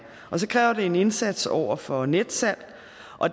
og så kræver det en indsats over for netsalg